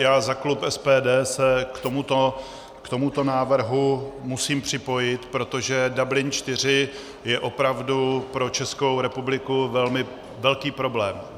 Já za klub SPD se k tomuto návrhu musím připojit, protože Dublin IV je opravdu pro Českou republiku velmi velký problém.